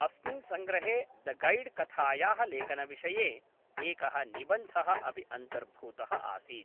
अस्मिन् सङ्ग्रहे the gad कथायाः लेखनविषये एकः निबन्धः अपि अन्तर्भूतः आसीत्।